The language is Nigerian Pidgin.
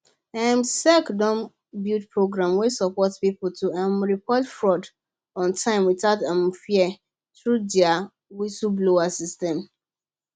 um sec don build program wey support people to um report fraud on time without um fear through their whistleblower system